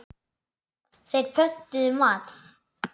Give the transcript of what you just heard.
Þeir pöntuðu mat.